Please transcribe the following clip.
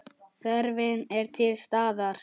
Þörfin er til staðar.